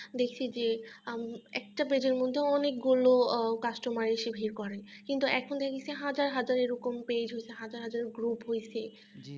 তখন দেখছি যে একটা page এর মধ্যে অনেকগুলো customer এসে ভিড় করে কিন্তু এখন দেখি যে হাজার হাজার এরকম page হয়েছে হাজার হাজার group হইছে